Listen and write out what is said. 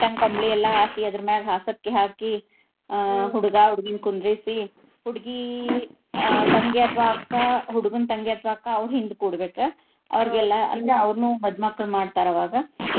Neat ಗೆ ಕಂಬಳಿ ಎಲ್ಲಾ ಹಾಸಿ ಅದರ ಮ್ಯಾಗ ಹಾಸಕ್ಕಿ ಹಾಕಿ ಆಹ್ ಹುಡ್ಗಾ, ಹುಡ್ಗಿನ್ ಕುಂದರ್ಸಿ ಹುಡ್ಗಿ ತಂಗಿ ಅಥವಾ ಅಕ್ಕಾ ಹುಡ್ಗನ್ ತಂಗಿ ಅಥವಾ ಅಕ್ಕಾ ಅವ್ರು ಹಿಂದ ಕೂಡ್ಬೇಕ. ಅವ್ರಿಗೆಲ್ಲಾ ಅಂದ್ರ ಅವ್ರನು ಮದ್ ಮಕ್ಳನ್ನ ಮಾಡ್ತಾರ ಅವಾಗ.